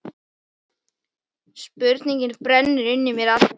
Spurning brennur inn í mér allri.